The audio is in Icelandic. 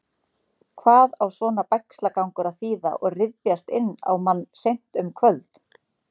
Hvað á svona bægslagangur að þýða og ryðjast inn á mann seint um kvöld?